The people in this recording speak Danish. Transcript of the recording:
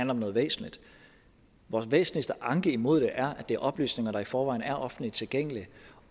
om noget væsentligt vores væsentligste anke imod det er at det er oplysninger der i forvejen er offentligt tilgængelige